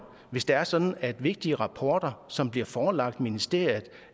hvis det er sådan at vigtige rapporter som bliver forelagt ministeriet